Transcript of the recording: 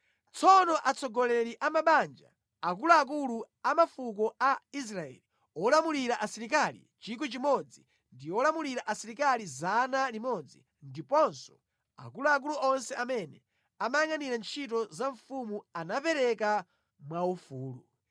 Tsono atsogoleri a mabanja, akuluakulu a mafuko a Israeli, olamulira asilikali 1,000, ndi olamulira asilikali 100, ndiponso akuluakulu onse amene amayangʼanira ntchito ya mfumu anapereka mwaufulu.